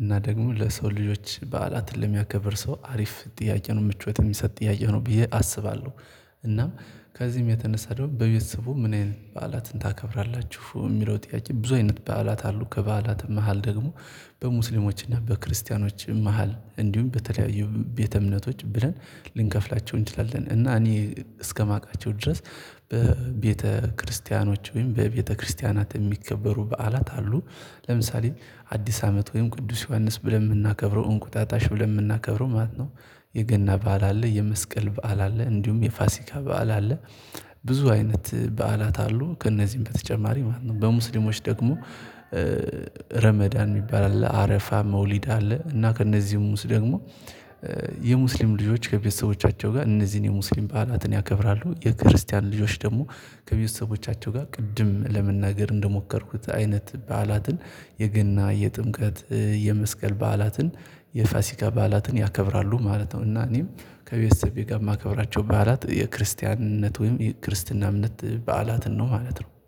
እና ደግሞ ለሰው ልጆች በዓላትን ለሚያከብር ሰው አሪፍ ጥያቄ ነው ምቾት የሚሰጥ ጥያቄ ነው ብዬ አስባለሁ። እና ከዚህም የተነሳ ደግሞ በቤተሰቡም ምን አይነት በዓላትን ታከብራላችሁ? የሚለው ጥያቄ ብዙ አይነት በዓላት አሉ ከበዓላትም መሃል ደግሞ በሙስሊሞችና በክርስቲያኖች መሃል እንዲሁም በተለያዩ ቤተ እምነቶች ብለን ልንከፍላቸው እንችላለን እና እኔ እስከማውቃቸው ድረስ። በቤተክርስቲያኖች ወይም በቤተክርስቲያናት የሚከበሩ በዓላት አሉ። ለምሳሌ አዲስ አመት ወይም ቅዱስ ዮሐንስ ብለን የምናከብረው እንቁጣጣሽ ብለን የምናከብረው ማለት ነው። የገና በዓል አለ የመስቀል በዓል አለ እንዲሁም የፋሲካ በዓል አለ። ብዙ አይነት በዓላት አሉ ከእነዚህም በተጨማሪ ማለት ነው በሙስሊሞች ደግሞ። ረመዳን የሚባል አለ አረፋ መውሊድ አለ እና ከእነዚህም ውስጥ ደግሞ የሙስሊም ልጆች ከቤተሰቦቻቸው ጋር እነዚህን የሙስሊም ባህላትን ያከብራሉ። የክርስቲያን ልጆች ደግሞ ከቤተሰቦቻቸው ጋር ቅድም ለመናገር እንደሞከርኩት አይነት በዓላትን የገና የጥምቀት የመስቀል በዓላትን የፋሲካ በዓላትን ያከብራሉ ማለት ነው። እና እኔም ከቤተሰቤ ጋር የማከብራቸው በዓላት የክርስቲያን እምነት ወይም የክርስትና እምነት በዓላትን ነው ማለት ነው